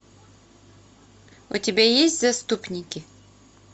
у тебя есть заступники